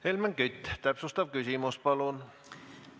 Helmen Kütt, täpsustav küsimus, palun!